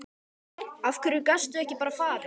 Af hverju gastu ekki bara farið?